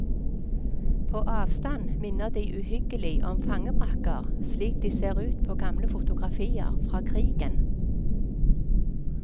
På avstand minner de uhyggelig om fangebrakker slik de ser ut på gamle fotografier fra krigen.